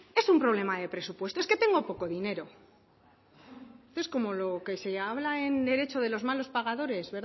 es un problema de presupuesto es que tengo poco dinero esto como lo que se habla en derecho de los malos pagadores